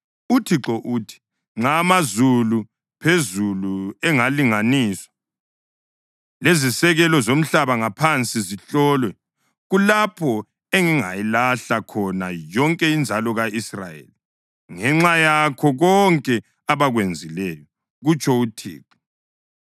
UThixo uthi: “Nxa amazulu phezulu engalinganiswa lezisekelo zomhlaba ngaphansi zihlolwe, kulapho engingayilahla khona yonke inzalo ka-Israyeli ngenxa yakho konke abakwenzileyo,” kutsho uThixo.